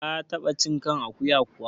Ka taɓa cin kan akuya kuwa?